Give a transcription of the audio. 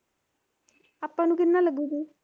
ਆਪਾਂ ਨੂੰ ਕਿੰਨਵਾ ਲੱਗੂਗਾ